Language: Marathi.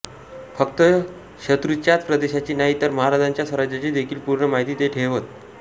फक्त शत्रूच्याच प्रदेशाची नाही तर महाराजांच्या स्वराज्याची देखील पूर्ण माहिती ते ठेवत